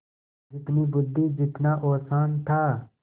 जितनी बुद्वि जितना औसान था